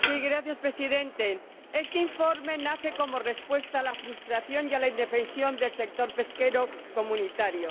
Señor Presidente, este informe nace como respuesta a la frustración y a la indefensión del sector pesquero comunitario.